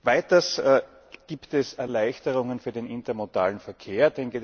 Weiters gibt es Erleichterungen für den intermodalen Verkehr.